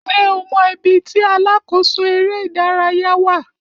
Ṣé o mọ ibi tí alákòóso eré ìdárayá wà?